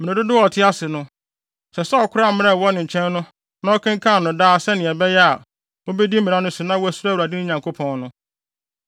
Mmere dodow a ɔte ase no, ɛsɛ sɛ ɔkora mmara a ɛwɔ ne nkyɛn no na ɔkenkan no daa sɛnea ɛbɛyɛ a, obedi mmara no so na wasuro Awurade, ne Nyankopɔn no.